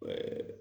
Ɛɛ